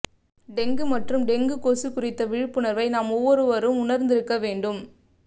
dengue மற்றும் dengue கொசு குறித்த விழிப்புணர்வை நாம் ஒவ்வொருவரும் உணர்ந்து இருக்க வேண்டும்